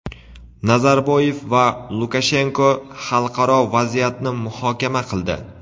Nazarboyev va Lukashenko xalqaro vaziyatni muhokama qildi.